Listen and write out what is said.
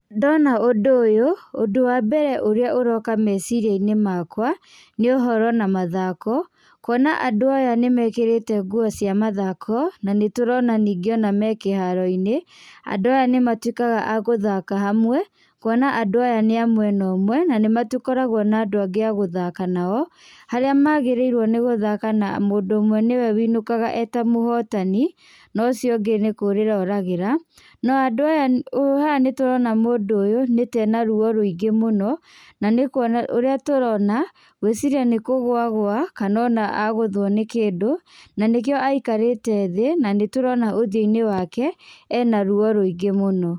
Ndona ũndũ ũyũ, ũndũ wa mbere ũrĩa ũroka meciria-inĩ makwa nĩ ũhoro na mathako kuona andũ aya nĩmekĩrĩte nguo cia mathako nanĩtũrona ningĩ ona me kĩharo-inĩ, andũ aya nĩ matuĩkaga a gũthaka hamwe kuona andũ aya nĩ a mwena ũmwe na nĩmatũkoragwo na andũ angĩ a gũthaka nao harĩa magĩrĩirwo nĩ gũthaka na mũndũ ũmwe nĩwe wũinũkaga eta mũhotani na ũcio ũngĩ nĩ kũrĩra oragĩra no andũ aya ũ haha nĩtũrona mũndũ ũyũ nĩ ta ena ruo rũingĩ mũno na nĩkuona ũrĩa tũrona ngwĩciria nĩ kũgũa agũa kana ona agũthwo nĩ kĩndũ na nĩkĩo aikarĩte thĩ na nĩtũrona ũthiũ-inĩ wake ena ruo rũingĩ mũno.